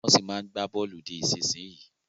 Wọ́n ṣì máa ń gba bọ̀ọ̀lù di ìsinsìnyí